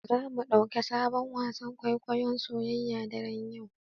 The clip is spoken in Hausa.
Zamu ɗauki sabon wasan kwaikwayon soyayya daren yau.